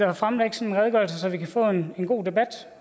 at fremlægge sin redegørelse så vi kan få en god debat